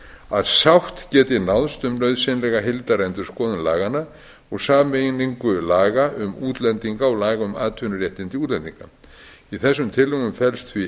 að sátt geti náðst um nauðsynlega heildarendurskoðun laganna og sameiningu laga um útlendinga og laga um atvinnuréttindi útlendinga í þessum tillögum felst því